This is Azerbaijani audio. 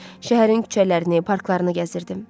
Şəhərin küçələrini, parklarını gəzirdim.